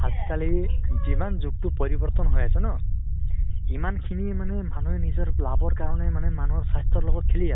আজিকালি যিমান যোগ তো পৰিবৰ্তন হৈ আছে ন ? সিমান খিনি মানে মানুহে নিজৰ লাভৰ কাৰণে মানে মানুহৰ স্বাস্থ্য়ৰ লগত খেলি আছে ।